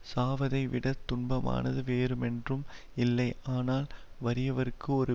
சாவதை விட துன்பமானது வேறுமென்றும் இல்லை ஆனால் வறியவர்க்கு ஒரு